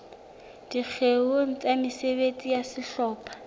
dikgeong tsa mesebetsi ya sehlopha